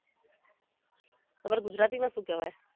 તમારે ગુજરાતીમાં શુંં કેવાય?